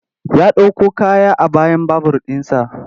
Ya ɗauko kaya a bayan babur ɗinsa.